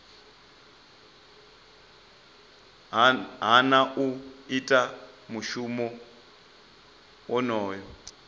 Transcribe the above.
hana u ita mushumo wonoyo